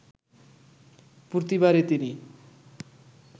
প্রতিবারই তিনি